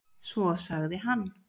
Svo sagði hann.